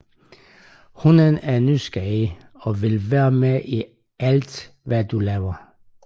Hunden er nysgerrig og vil være med i alt hvad du laver